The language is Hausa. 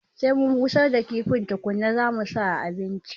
Sai mun busar da kifin tukuna zamu sa a abinci